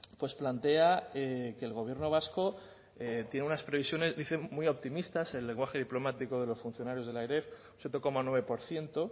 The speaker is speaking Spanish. pues plantea que el gobierno vasco tiene unas previsiones dicen muy optimistas en el lenguaje diplomático de los funcionarios de la eref siete coma nueve por ciento